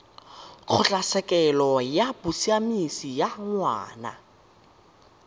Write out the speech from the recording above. kgotlatshekelo ya bosiamisi ya ngwana